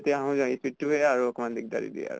speed টো আৰু অকম দিগ্দাৰি দিয়ে আৰু